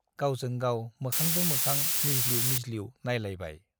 गावजों गाव मोखांजों मोखां मिज्लिउ मिज्लिउ नाइलायबाय।